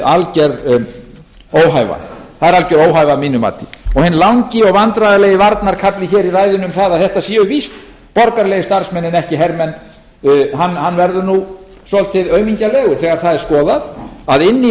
alger óhæfa að mínu mati hinn langi og vandræðalegi varnarkafli hér í ræðunni um það að þetta séu víst borgaralegir starfsmenn en ekki hermenn hann verður nú svolítið aumingjalegur þegar það er skoðað að inni í